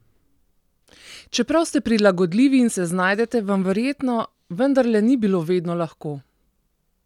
Čeprav ste prilagodljivi in se znajdete, vam verjetno vendarle ni bilo vedno lahko?